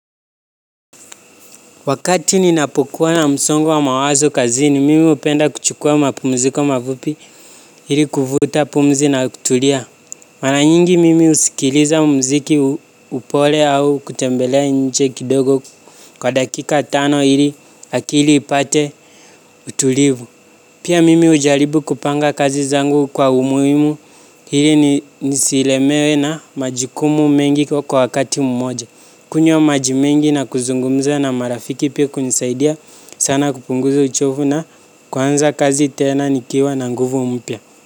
Wakati ninapokuwa na msongo wa mawazo kazini mimi upenda kuchukua mapumziko mafupi hili kufuta pumzi na kutulia. Mara nyingi mimi usikiliza mziki upole au kutembelea nje kidogo kwa dakika tano hili akili ipate utulivu. Pia mimi ujaribu kupanga kazi zangu kwa umuhimu hili nisiilemewe na majukumu mengi kwa wakati mmoja. Kunywa maji mengi na kuzungumza na marafiki pia kunisaidia sana kupunguza uchovu na kunza kazi tena nikiwa na nguvu umpya.